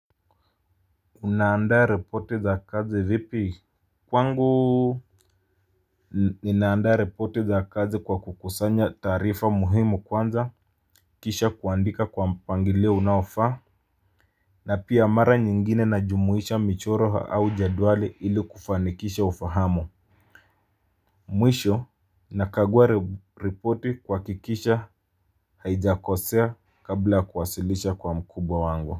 Unaandaa ripoti za kazi vipi. Kwangu ninaandaa ripoti za kazi kwa kukusanya taarifa muhimu kwanza. Kisha kuandika kwa mpangilio unaofaa. Na pia mara nyingine najumuisha michoro au jedwali ili kufanikisha ufahamu. Mwisho nakagua ripoti kuhakikisha haijakosea kabla kuwasilisha kwa mkubwa wangu. Kwa hivyo.